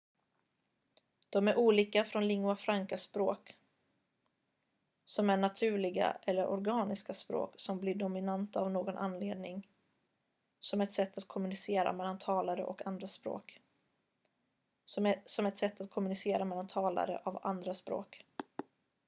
de är olika från lingua franca-språk som är naturliga eller organiska språk som blir dominanta av någon anledning som ett sätt att kommunicera mellan talare av andra språk